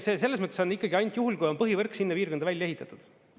Ei, selles mõttes on ikkagi ainult juhul, kui on põhivõrk sinna piirkonda välja ehitatud.